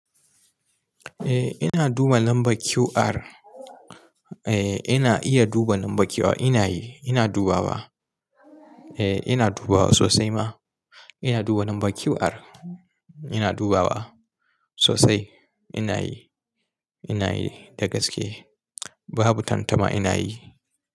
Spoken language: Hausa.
Eh ina duba lambar QR. Eh ina iya duba lambar QR. Ina yi, ina dubawa. Eh ina dubawa sosai ma. Ina duba lambar QR. Ina dubawa sosai. Ina yi, ina yi da gaske. Babu tantama ina yi.